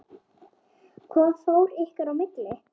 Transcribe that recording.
Hvað fór ykkar í milli?